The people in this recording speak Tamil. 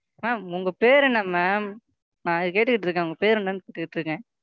Ma'am உங்க பேர் என்ன Ma'am நான் கேட்டுக்கிட்டு இருக்கேன் உங்க பேர் என்னன்னு கேட்டுக்கிட்டு இருக்கேன்.